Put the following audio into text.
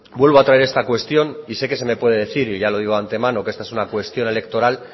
vuelvo a traer esta cuestión y sé que se me puede decir y ya lo digo antemano que esta es una cuestión electoral